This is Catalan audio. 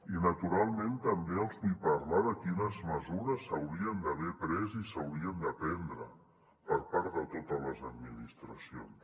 i naturalment també els vull parlar de quines mesures s’haurien d’haver pres i s’haurien de prendre per part de totes les administracions